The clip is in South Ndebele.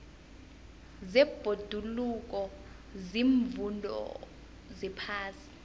zebhoduluko ziimfundo zephasi